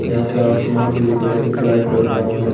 यहां पे आसमान भी दिख रहे हैं कुछ लाइट जल रहा है।